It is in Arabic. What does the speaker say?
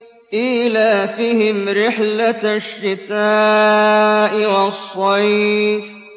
إِيلَافِهِمْ رِحْلَةَ الشِّتَاءِ وَالصَّيْفِ